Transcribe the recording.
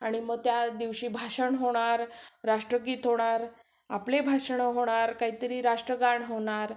आणि मग त्या दिवशी भाषण होणार, राष्ट्रगीत होणार, आपली भाषणं होणार, काहीतरी राष्ट्रगान होणार